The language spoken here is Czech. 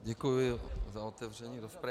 Děkuji za otevření rozpravy.